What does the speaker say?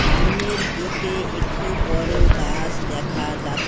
সামনের দিকে একটি বড়ো গাছ দেখা যা--